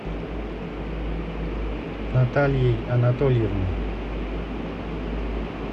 натальей анатольевной